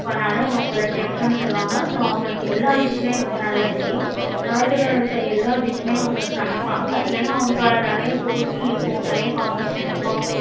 work பண்ணலே அவங்க chef னு சொல்லுவாங்க. அவங்களுக்கு எல்லா dish உமக்கே நல்ல தெரியும். world ல இருக்க எல்லா dish உமக்கே சமைப்பாங்க ஏன அவங்க நெறைய போட்டி இருக்கும் நெறைய competition இருக்கும்.